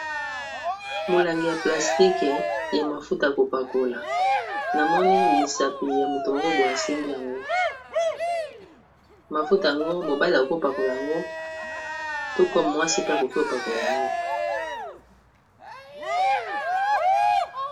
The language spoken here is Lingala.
molangi ya plastike ya mafuta yakopakola namoni misapi ya moto moko boy asimbi yango mafuta yango mobale okopakola yango toko mwasi pe akoki kopakola yango